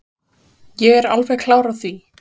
Ég er alveg klár á því.